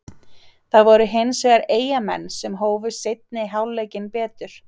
Það voru hins vegar Eyjamenn sem hófu seinni hálfleikinn betur.